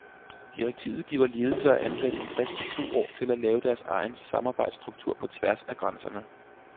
Direktivet giver ledelse og ansatte en frist på to år til at lave deres egen samarbejdsstruktur på tværs af grænserne.